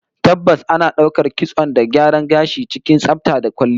Tabbas, ana daukar kitson da gyaran gashi cikin tsafta da kwalliya